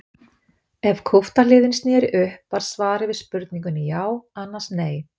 Ef kúpta hliðin sneri upp var svarið við spurningunni já annars nei.